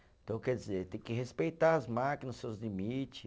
Então, quer dizer, tem que respeitar as máquinas, os seus limite.